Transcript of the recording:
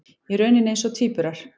Í rauninni eins og tvíburar.